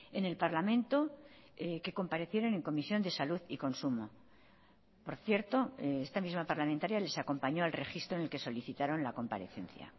en el parlamento que comparecieron en comisión de salud y consumo por cierto esta misma parlamentaria les acompañó al registro en el que solicitaron la comparecencia